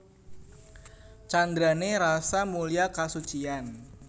Candrané Rasa mulya kasuciyan